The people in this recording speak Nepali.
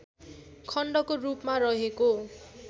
खण्डको रूपमा रहेको